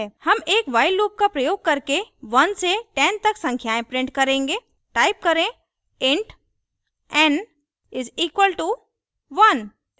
हम एक while loop का प्रयोग करके 1 से 10 तक संख्याएं print करेंगे type करें int n = 1